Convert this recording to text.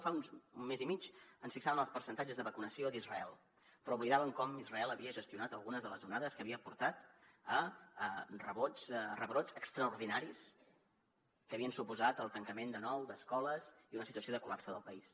fa un mes i mig ens fixàvem en els percentatges de vacunació d’israel però oblidàvem com israel havia gestionat algunes de les onades que havien portat a rebrots extraordinaris que havien suposat el tancament de nou d’escoles i una situació de col·lapse del país